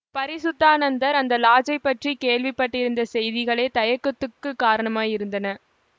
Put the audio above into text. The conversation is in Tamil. பரிசுத்தானந்தர் அந்த லாட்ஜைப் பற்றி கேள்விப்பட்டிருந்த செய்திகளே தயக்கத்துக்குக் காரணமாயிருந்தன